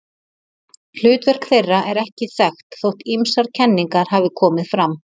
Hlutverk þeirra er ekki þekkt þótt ýmsar kenningar hafi komið fram.